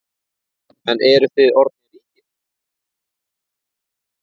En eruð þið orðnir ríkir?